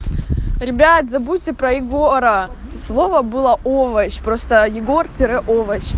ребят забудьте про егора слово было овощ просто егор тире овощ